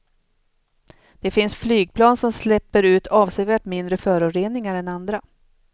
Det finns flygplan som släpper ut avsevärt mindre föroreningar än andra.